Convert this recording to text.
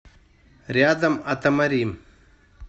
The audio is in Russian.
рядом атамари